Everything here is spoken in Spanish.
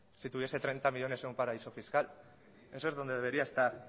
si tuviese treinta millónes en un paraíso fiscal eso es donde debería estar